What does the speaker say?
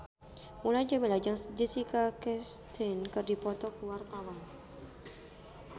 Mulan Jameela jeung Jessica Chastain keur dipoto ku wartawan